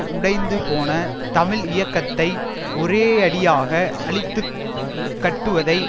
உடைந்து போன தமிழ் இயக்கத்தை ஒரேயடியாக அழித்து கட்டுவதை